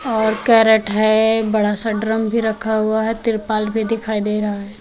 और कैरेट है एक बड़ा सा ड्रम भी रखा हुआ है तिरपाल भी दिखाई दे रहा है।